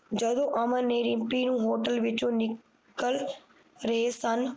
ਜਦੋ ਅਮਨ ਨੇ ਰਿਮਪੀ ਨੂੰ Hotel ਵਿੱਚੋ ਨਿਕਲ ਰਹੇ ਸਨ